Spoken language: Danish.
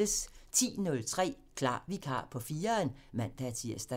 10:03: Klar Vikar på 4'eren (man-tir)